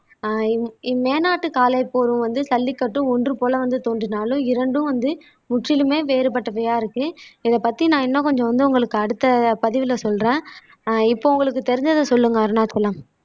ஆஹ் இம் இம்மேனாட்டு காளை போரும் வந்து ஜல்லிக்கட்டும் ஒன்று போல வந்து தோன்றினாலும் இரண்டும் வந்து முற்றிலுமே வேறுபட்டவையா இருக்கு இதை பத்தி நான் இன்னும் கொஞ்சம் வந்து உங்களுக்கு அடுத்த பதிவுல சொல்றேன் ஆஹ் இப்போ உங்களுக்கு தெரிஞ்சதை சொல்லுங்க அருணாச்சலம்